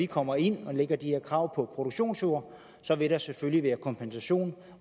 kommer ind og lægger de her krav på produktionsjord vil der selvfølgelig være kompensation